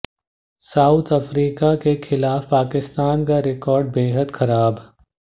south Africa के खिलाफ पाकिस्तान का रिकॉर्ड बेहद खराब